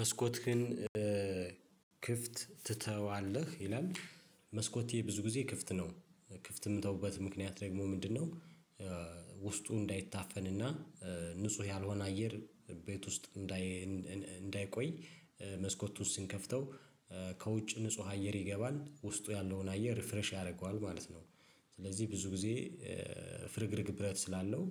መስኮትህን ክፍት ትተዋለህ ይላል? መስኮቴ ብዙ ጊዜ ክፍት ነው ክፍት የምተውበት ምክንያት ደግሞ ምንድነው? ውስጡ እንዳይታፈንና ንጹህ ያልሆነ አየር ቤት ውስጥ እንዳይ እንዳይቆይ መስኮቱን ስንከፍተው ከውጭ ንጹህ አየር ይገባል ውስጡ ያለውን አየር ሪፍሬሽ ያደርገዋል ማለት ነው። ስለዚህ ብዙ ጊዜ ፍርግርግ ብረት ስላለው